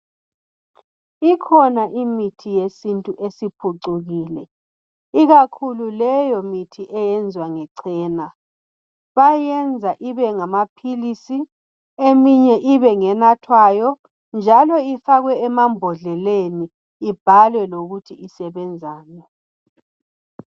Ikhona imithi yesintu esiphucukile ikakhulu leyo mithi eyenzwa ngechena bayayenza ibengamaphilisi eminye ibe ngenathwayo njalo ifakwe emabhondleleni ibhalwe lokuthi isebenzani.